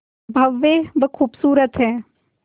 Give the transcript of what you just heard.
भव्य व खूबसूरत है